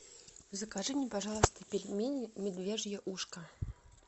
закажи мне пожалуйста пельмени медвежье ушко